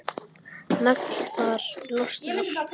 Naglfar losnar.